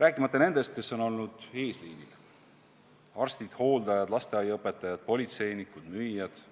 Rääkimata nendest, kes on olnud eesliinil: arstid, hooldajad, lasteaiaõpetajad, politseinikud, müüjad ja